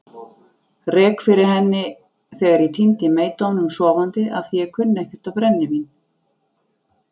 Rek fyrir henni þegar ég týndi meydómnum sofandi afþvíað ég kunni ekkert á brennivín.